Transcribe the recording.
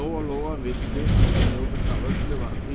Lóa-Lóa vissi að það ljótasta af öllu var að